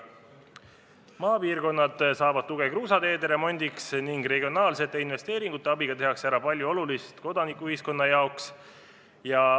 Maapiirkonnad saavad tuge kruusateede remondiks ning regionaalsete investeeringute abiga tehakse ära palju olulist kodanikuühiskonna jaoks.